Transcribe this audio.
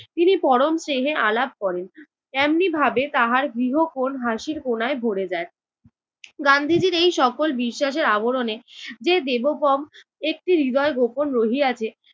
তিনি পরম স্নেহে আলাপ করেন। তেমনি ভাবে তাহার গৃহকোণ হাসির কোনায় ভরে যায়। গান্ধীজির এই সকল বিশ্বাসের আবরণে যে দেবগম একটি হৃদয় গোপন রহিয়াছে